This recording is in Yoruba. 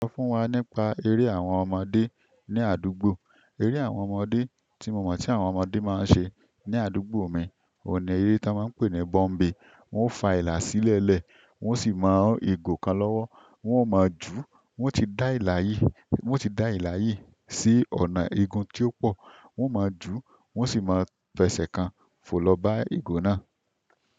Sọ fún wa nípa eré àwọn ọmọdé ní àdúgbò. Eré àwọn ọmọdé tí mo mọ̀ tí àwọn ọmọdé máa ń ṣe ní àdúgbò mi, òní eré tí a máa ń pè ní bọ́ḿbè. Wọ́n ó fa ìlà sílẹ̀ẹ́lẹ̀, wọ́n sì máa hán ìgò kan lọ́wọ́, wọ́n ó máa jùú, wọ́n ti dá ìlà yìí, wọ́n ti dá ìlà yìí sí ọ̀nà igun tí ó pọ, wọ́n ó máa jùú, wọ́n sì máa fẹsẹ̀ kan fò lọ bá ìgò náà.